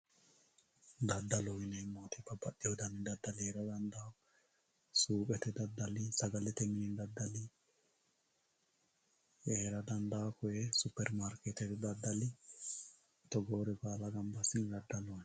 Daddaloho yineemmo woyite babbaxxiwo dani daddali heera dandawo. Suuqete daddali, sagalete mini daddali heera dandawo. Koye Supperimaarkeettete daddali togoore baala gamba assine daddaloho yinayi.